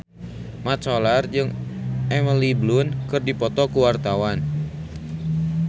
Mat Solar jeung Emily Blunt keur dipoto ku wartawan